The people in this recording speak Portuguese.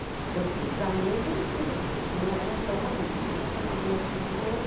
Então tinha os amigos e os que não eram tão amigos, mas um chamava o outro, chamava o outro.